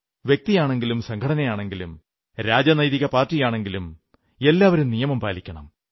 വ്യക്തിയാണെങ്കിലും സംഘടനയാണെങ്കിലും രാജനൈതിക പാർട്ടിയാണെങ്കിലും എല്ലാവരും നിയമം പാലിക്കണം